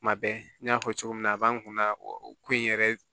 Kuma bɛɛ n y'a fɔ cogo min na a b'an kun na o ko in yɛrɛ